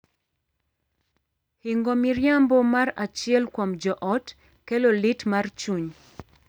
Hingo miriambo mar achiel kuom joot kelo lit mar chuny.